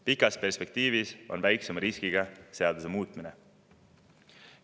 Pikas perspektiivis on väiksema riskiga seaduse muutmine.